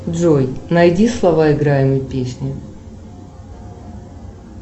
джой найди слова играемой песни